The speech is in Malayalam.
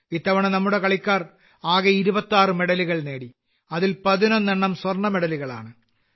ഇത്തവണ നമ്മുടെ കളിക്കാർ ആകെ 26 മെഡലുകൾ നേടി അതിൽ 11 എണ്ണം സ്വർണ്ണമെഡലുകളാണ്